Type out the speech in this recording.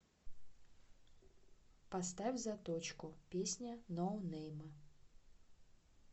поставь заточку песня ноунейма